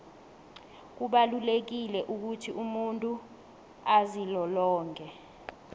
kubalulekile ukuthi umuntu azilolonge